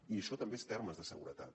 i això també són termes de seguretat